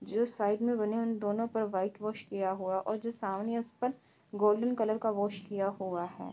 जो साइड में बने हैं उन दोनों पर वाईट वाश किया हुआ और जिस सामने है उस पर गोल्डन कलर का वाश किया हुआ है।